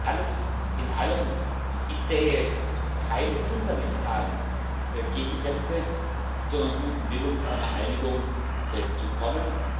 Alles in allem Ich sehe keine fundamentalen Gegensätze, sondern guten Willen, zu einer Einigung zu kommen.